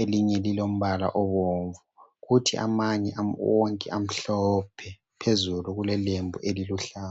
elinye lilombala obomvu kuthi amanye wonke amhlophe phezulu kulelembu eliluhlaza.